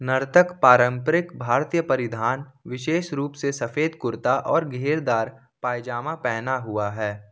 नर्तक पारंपरिक भारतीय परिधान विशेष रूप से सफेद कुर्ता और घेरदार पैजामा पहना हुआ है।